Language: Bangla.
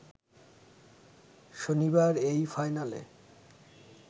শনিবার এই ফাইনালে